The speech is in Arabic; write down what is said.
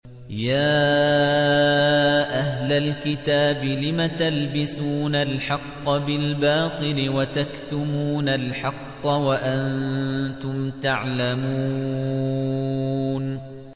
يَا أَهْلَ الْكِتَابِ لِمَ تَلْبِسُونَ الْحَقَّ بِالْبَاطِلِ وَتَكْتُمُونَ الْحَقَّ وَأَنتُمْ تَعْلَمُونَ